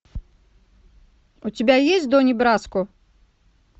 у тебя есть дони браско